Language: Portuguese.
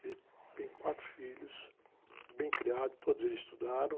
Ele tem quatro filhos, bem criados, todos eles estudaram.